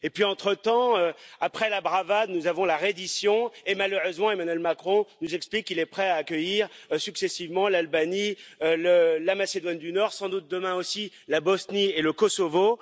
Et puis entretemps, après la bravade, nous avons la reddition et malheureusement Emmanuel Macron nous explique qu'il est prêt à accueillir successivement l'Albanie, la Macédoine du Nord, sans doute demain aussi la Bosnie et le Kosovo.